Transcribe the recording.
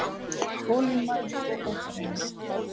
Þolinmæði og óþreyja